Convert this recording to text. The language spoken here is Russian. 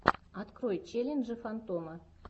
открой челленджи фантома